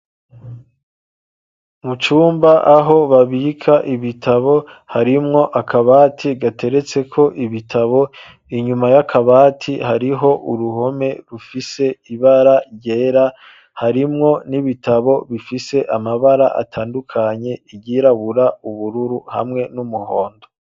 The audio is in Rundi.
Mu cumba, aho babika ibitabo, harimwo akabati, gateretseko ibitabo, inyuma y'akabati, hariho uruhome, rufise ibara ryera; harimwo n'ibitabo, bifise amabara atandukanye; iryirabura, ubururu, hamwe n'umuhondo.